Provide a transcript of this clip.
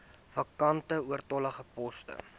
vakante oortollige poste